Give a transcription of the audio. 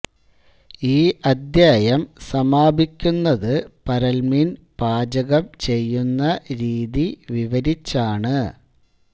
ഈ അദ്ധ്യായം സമാപിക്കുന്നത് പരൽമീൻ പാചകം ചെയ്യുന്ന രീതി വിവരിച്ചാണ്